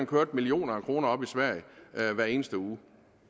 køre millioner af kroner op i sverige hver eneste uge